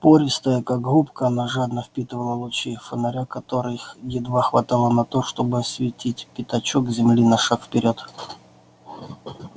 пористая как губка она жадно впитывала лучи их фонаря которых едва хватало на то чтобы осветить пятачок земли на шаг вперёд